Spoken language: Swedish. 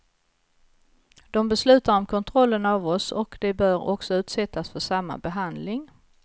De beslutar om kontrollen av oss och de bör också utsättas för samma behandling.